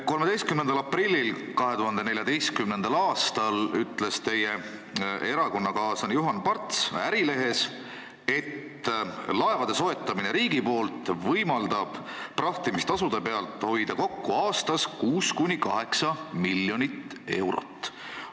13. aprillil 2014. aastal ütles teie erakonnakaaslane Juhan Parts Ärilehes, et laevade soetamine riigi poolt võimaldab prahtimistasude pealt hoida kokku aastas 6–8 miljonit eurot.